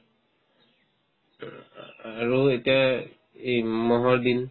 উম উম আৰু এতিয়াই এই ম'হৰ দিন